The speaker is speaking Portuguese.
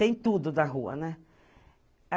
Tem tudo da rua, né?